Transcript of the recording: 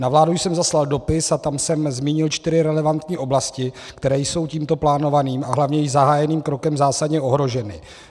Na vládu jsem zaslal dopis a tam jsem zmínil čtyři relevantní oblasti, které jsou tímto plánovaným a hlavně již zahájeným krokem zásadně ohroženy.